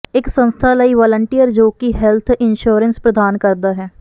ਇੱਕ ਸੰਸਥਾ ਲਈ ਵਾਲੰਟੀਅਰ ਜੋ ਕਿ ਹੈਲਥ ਇੰਸ਼ੋਰੈਂਸ ਪ੍ਰਦਾਨ ਕਰਦਾ ਹੈ